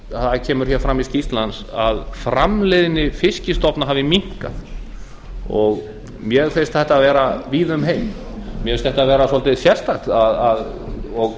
það kemur hér fram í skýrslu hans að framleiðni fiskstofna hafi minnkað mér finnst þetta vera víða um heim mér finnst þetta vera svolítið sérstakt og